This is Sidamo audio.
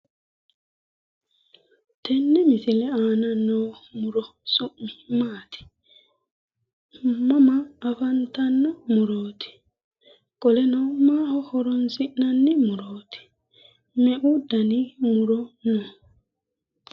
Tenne misile aana noo muro su'mi maati? Mama afantanno murooti? Qoleno maaho horoonsi'nanni murooti? Meu dani muro no.